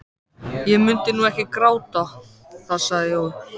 Ég mundi nú ekki gráta það sagði Jói.